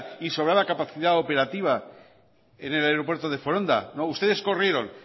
y sobraba capacidad operativa en el aeropuerto de foronda no ustedes corrieron